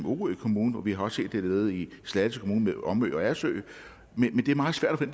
orø kommune og vi har også set det nede i slagelse kommune med omø og agersø men det er meget svært at